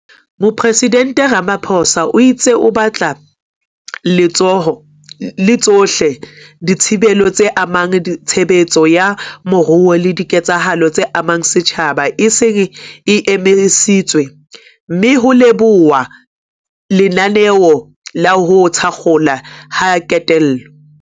Mopresidente Ramaphosa o itse e batla e le tsohle dithibelo tse amang tshebetso ya moruo le diketsahalo tse amang setjhaba e seng e emisitswe, mme ho lebohuwa lenaneo la ho thakgolwa ha kentelo.